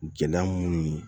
Gɛlɛya minnu ye